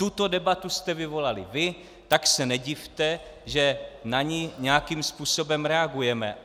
Tuto debatu jste vyvolali vy, tak se nedivte, že na ni nějakým způsobem reagujeme.